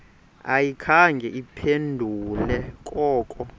ayikhange iphendule koko